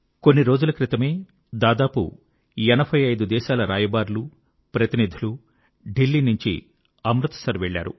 కొన్ని రోజుల క్రితమే దాదాపు 85 దేశాల రాయబారులుప్రతినిధులు దిల్లీ నుంచి అమృత్ సర్ వెళ్ళారు